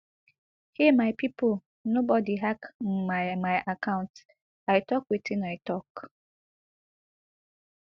hey my pipo nobody hack my my account i tok wetin i tok